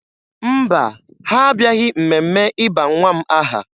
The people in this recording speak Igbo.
Mba, ha abịaghị mmemme ịba nwa m aha